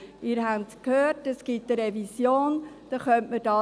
Sie haben gehört, dass eine Revision stattfinden wird.